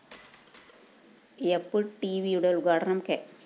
യാപ്‌ ടിവിയുടെ ഉദ്ഘാടനം കെ